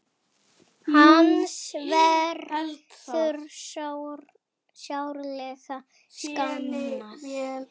Hans verður sárlega saknað.